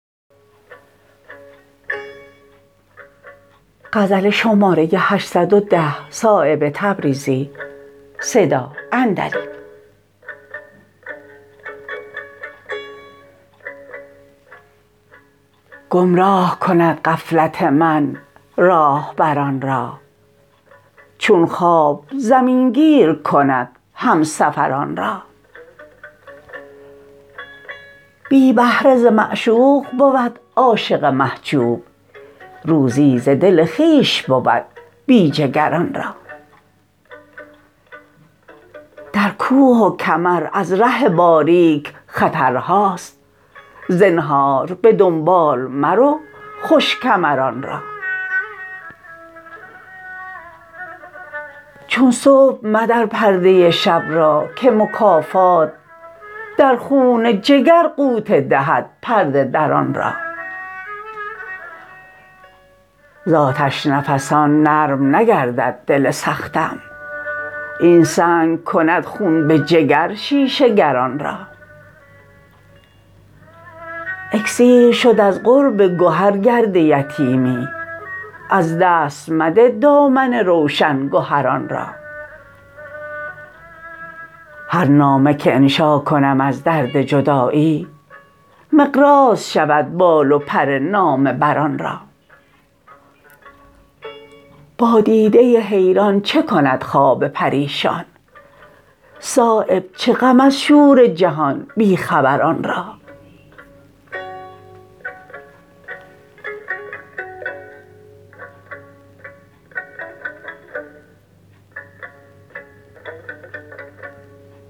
گمراه کند غفلت من راهبران را چون خواب زمین گیر کند همسفران را بی بهره ز معشوق بود عاشق محجوب روزی ز دل خویش بود بی جگران را در کوه و کمر از ره باریک خطرهاست زنهار به دنبال مرو خوش کمران را چون صبح مدر پرده شب را که مکافات در خون جگر غوطه دهد پرده دران را ز آتش نفسان نرم نگردد دل سختم این سنگ کند خون به جگر شیشه گران را اکسیر شد از قرب گهر گرد یتیمی از دست مده دامن روشن گهران را هر نامه که انشا کنم از درد جدایی مقراض شود بال و پر نامه بران را با دیده حیران چه کند خواب پریشان صایب چه غم از شور جهان بی خبران را